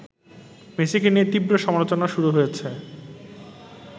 মেসিকে নিয়ে তীব্র সমালোচনা শুরু হয়েছে